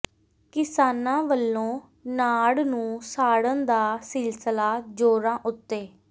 ਕਿਸਾਨਾਂ ਵੱਲੋਂ ਨਾੜ ਨੂੰ ਸਾੜਨ ਦਾ ਸਿਲਸਲਾ ਜ਼ੋਰਾਂ ਉੱਤੇ